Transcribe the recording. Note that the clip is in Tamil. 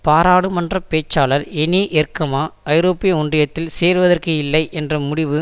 பாராளுமன்ற பேச்சாளர் எனி எர்க்மா ஐரோப்பிய ஒன்றியத்தில் சேருவதற்கு இல்லை என்ற முடிவு